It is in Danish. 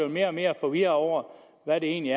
mere og mere forvirret over hvad det egentlig